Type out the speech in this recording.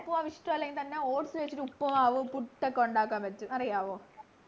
ഉപ്പുമാവിഷ്ടല്ലെങ്കി തന്നെ oats വെച്ചിട്ട് ഉപ്പുമാവ് പുട്ട് ഒക്കെ ഉണ്ടാക്കാൻ പറ്റും അറിയാവോ